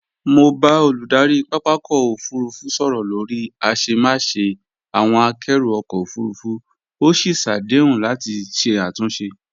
Mo bá olùdarí pápakọ̀ òfurufú sọ̀rọ̀ lórí àṣemáṣe àwọn àkẹ́rù ọkọ̀ òfurufú, ó sì ṣàdéhùn láti ṣe àtúnṣe